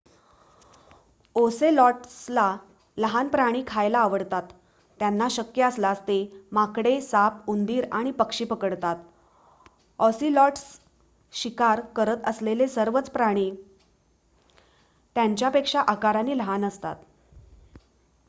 ओसेलॉट्सला लहान प्राणी खायला आवडतात त्यांना शक्य असल्यास ते माकडे साप उंदीर आणि पक्षी पकडतात ऑसिलॉट्स शिकार करत असलेले सर्वच प्राणी त्यांच्यापेक्षा आकाराने लहान असतात